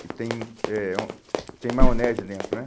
que tem eh hum, tem maionese dentro, né?